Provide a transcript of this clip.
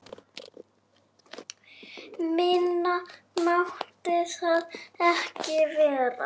Minna mátti það ekki vera!